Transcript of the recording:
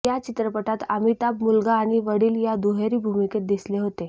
या चित्रपटात अमिताभ मुलगा आणि वडील या दुहेरी भूमिकेत दिसले होते